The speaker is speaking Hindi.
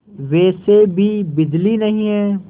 वैसे भी बिजली नहीं है